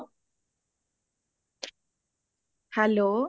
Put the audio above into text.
hello